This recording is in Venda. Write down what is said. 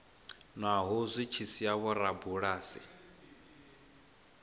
naho zwi tshi sia vhorabulasi